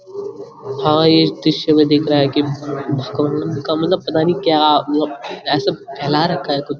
हा ये दृश्य में दिख रहा है कि मतबल पतानी क्या मतलब ऐसा फैला रखा है कुछ।